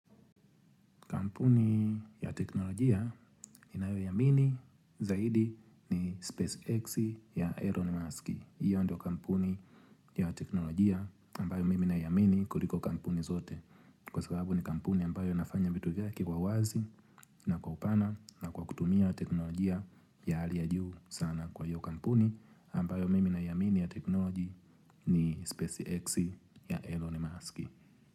Kampuni ya teknolojia ninayoiamini zaidi ni Space X ya Elon Musk. Iyo ndio kampuni ya teknolojia ambayo mimi naiamini kuliko kampuni zote. Kwa sababu ni kampuni ambayo inafanya vitu vyake kwa wazi na kwa upana na kwa kutumia teknolojia ya hali ya juu sana kwahivo hio kampuni ambayo mimi naiamini ya teknolojia ni Space X ya Elon Musk.